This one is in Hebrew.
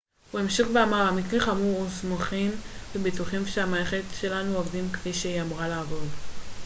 הוא המשיך ואמר המקרה חמור היו סמוכים ובטוחים שהמערכת שלנו עובדת כפי שהיא אמורה לעבוד